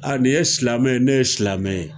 ni ye silamɛ ye, ne ye silamɛ ye